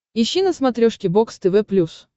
ищи на смотрешке бокс тв плюс